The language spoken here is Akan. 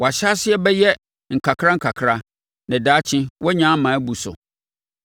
Wo ahyɛaseɛ bɛyɛ nkakra nkakra na daakye woanya ama abu so.